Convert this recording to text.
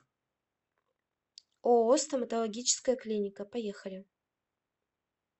ооо стоматологическая клиника поехали